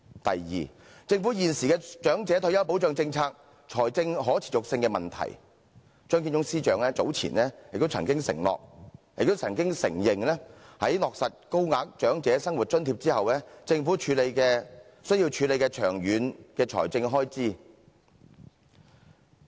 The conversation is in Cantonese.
第二，政府現時的長者退休保障政策財政可持續性的問題，張建宗司長早前也曾經承認在落實高額長者生活津貼後，政府需要處理長遠的財政開支。